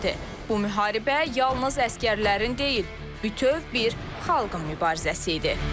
Bu müharibə yalnız əsgərlərin deyil, bütöv bir xalqın mübarizəsi idi.